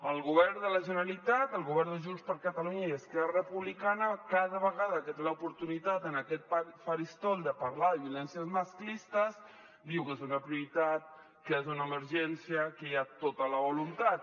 el govern de la generalitat el govern de junts per catalunya i esquerra republicana cada vegada que té l’oportunitat en aquest faristol de parlar de violències masclistes diu que és una prioritat que és una emergència que hi ha tota la voluntat